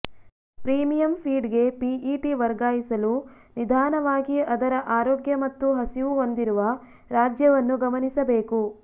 premium ಫೀಡ್ಗೆ PET ವರ್ಗಾಯಿಸಲು ನಿಧಾನವಾಗಿ ಅದರ ಆರೋಗ್ಯ ಮತ್ತು ಹಸಿವು ಹೊಂದಿರುವ ರಾಜ್ಯವನ್ನು ಗಮನಿಸಬೇಕು